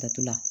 Tato la